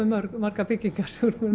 margar byggingar